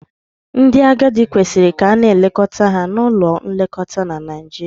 Ndị agadi kwesịrị ka a na-elekọta ha na ụlọ nlekọta na Naijiria.